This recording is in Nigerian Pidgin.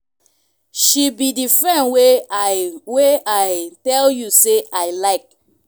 she be the friend wey i wey i tell you say i iike.